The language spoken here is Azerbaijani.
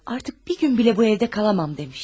Artıq bir gün belə bu evdə qala bilmərəm deyib.